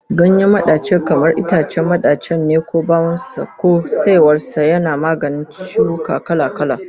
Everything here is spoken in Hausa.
Ganyen madaci kamar itacen madacin ne ko bawon sa ko saiwar sa, yana maganin ciwuka kala-kala